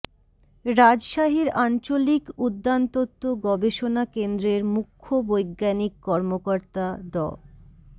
রাজশাহীর আঞ্চলিক উদ্যানতত্ব গবেষণা কেন্দ্রের মুখ্য বৈজ্ঞানিক কর্মকর্তা ড